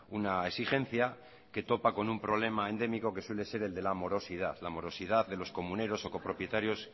una exigencia que topa con un problema endémico que suele ser el de la morosidad la morosidad de los comuneros o copropietarios